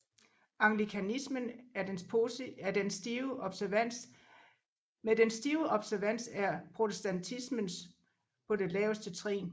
Anglikanismen med dens stive observans er protestantismen på det laveste trin